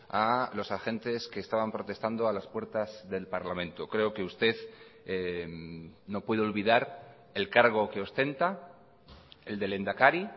a los agentes que estaban protestando a las puertas del parlamento creo que usted no puede olvidar el cargo que ostenta el de lehendakari